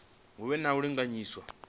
hu vhe na u linganyiswa